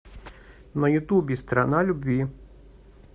на ютубе страна любви